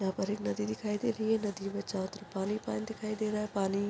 यहाँ पर एक नदी दिखाई दे रही है नदी में चारो तरफ पानी-पान दिखाई दे रहा है पानी--